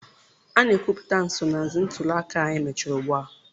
A na-ekwupụta nsonaazụ ntuli aka a mechara ugbu a.